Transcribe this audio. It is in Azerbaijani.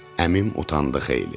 Əmim utandı xeyli.